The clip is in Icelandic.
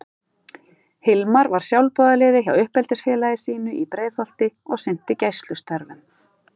Hilmar var sjálfboðaliði hjá uppeldisfélagi sínu í Breiðholti og sinnti gæslustörfum.